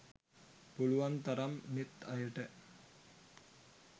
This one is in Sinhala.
පුලුවන්තරම් අනෙත් අයට